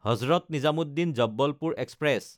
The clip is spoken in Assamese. হজৰত নিজামুদ্দিন–জবলপুৰ এক্সপ্ৰেছ